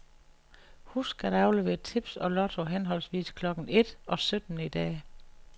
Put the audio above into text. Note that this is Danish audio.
Husk at aflevere tips og lotto henholdsvis klokken et og sytten i dag.